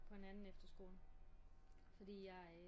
På en anden efterskole fordi jeg